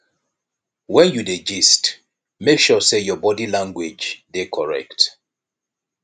when you dey gist make sure say your body language dey correct